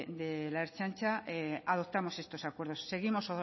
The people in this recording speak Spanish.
de la ertzaintza adoptamos estos acuerdos seguimos